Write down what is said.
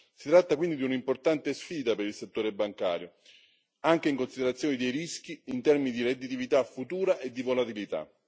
Si tratta quindi di un'importante sfida per il settore bancario, anche in considerazione dei rischi in termini di redditività futura e di volatilità.